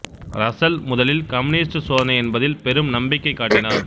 Russell முதலில் communist சோதனை என்பதில் பெரும் நம்பிக்கை காட்டினார்